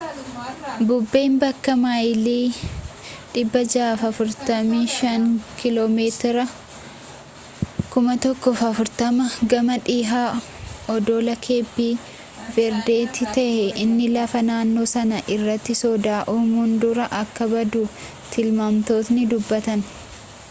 bubbeen bakka maayilii 645 km 1040 gamaa dhihaa oddola keepi verdetti ta’ee inni lafa naannoo sanaa irratti soda uumuun dura akka badu tilmaamtotni dubbatani